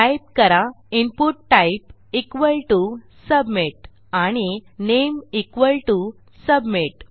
type करा input type equal to submit आणि name equal to submit